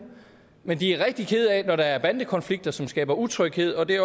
men de er rigtige kede af det når der er bandekonflikter som skaber utryghed og det